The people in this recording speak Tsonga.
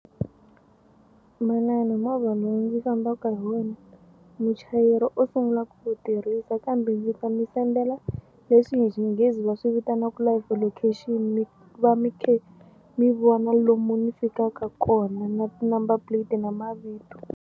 Manana movha lowu ndzi fambaka hi wona muchayeri o sungula ku wu tirhisa kambe ndzi ta mi sendela leswi hi Xinghezi va swi vitanaka live location mi va mi khe mi vona lomu ni fikaka kona na ti-number plate na mavito.